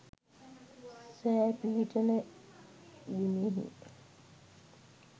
සෑ පිහිටන බිමෙහි